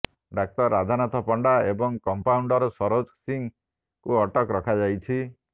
ଡାକ୍ତର ରାଧାନାଥ ପଣ୍ଡା ଏବଂ କମ୍ପାଉଣ୍ଡର ସରୋଜ ସିଂ ଙ୍କୁ ଅଟକ ରଖାଯାଇଛି